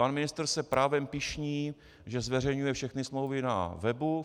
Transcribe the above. Pan ministr se právem pyšní, že zveřejňuje všechny smlouvy na webu.